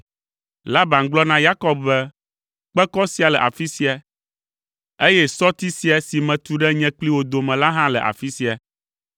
Laban gblɔ na Yakob be, “Kpekɔ sia le afi sia, eye sɔti sia si metu ɖe nye kpli wò dome la hã le afi sia.